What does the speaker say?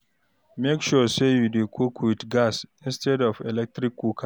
mek sure say yu dey cook wit gas instead of electric cooker